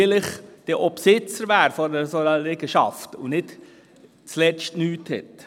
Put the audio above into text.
Und vielleicht wäre man ja dann auch Besitzer dieser Liegenschaft, sodass man dann nicht zuletzt gar nichts hat.